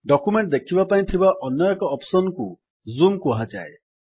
document ଦେଖିବା ପାଇଁ ଥିବା ଅନ୍ୟ ଏକ ଅପ୍ସନ୍ କୁ ଜୁମ୍ କୁହାଯାଏ